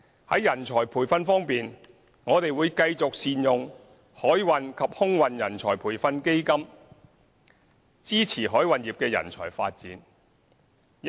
在人才培訓方面，我們會繼續善用海運及空運人才培訓基金，支持海運業的人才發展。